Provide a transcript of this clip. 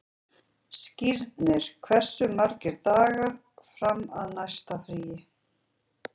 Skírnir, hversu margir dagar fram að næsta fríi?